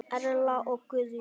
Erla og Guðjón.